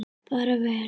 Bara vel.